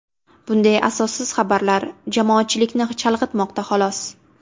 Bunday asossiz xabarlar jamoatchilikni chalg‘itmoqda xolos.